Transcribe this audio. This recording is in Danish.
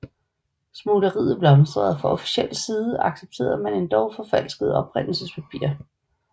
Smugleriet blomstrede og fra officiel side accepterede man endog forfalskede oprindelsespapirer